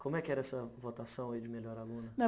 Como é que era essa votação aí de melhor aluna?